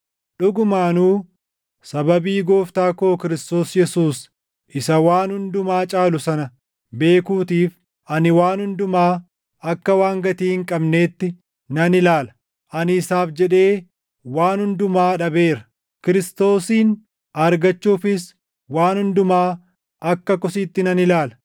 Dhugumaanuu sababii Gooftaa koo Kiristoos Yesuus isa waan hundumaa caalu sana beekuutiif ani waan hundumaa akka waan gatii hin qabneetti nan ilaala. Ani isaaf jedhee waan hundumaa dhabeera; Kiristoosin argachuufis waan hundumaa akka kosiitti nan ilaala;